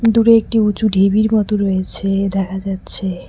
দূরে একটি উঁচু ঢিবির মতো রয়েছে দেখা যাচ্ছে।